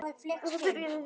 Þetta byrjaði vel.